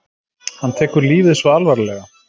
Hann tekur lífið svo alvarlega.